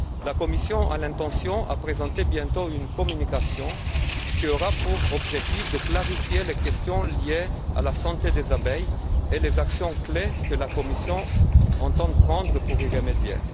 La Commission a l'intention de présenter bientôt une communication qui aura pour objectif de clarifier les questions liées à la santé des abeilles et les actions clés que la Commission entend prendre pour y remédier.